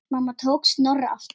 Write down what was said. Mamma tók Snorra aftur.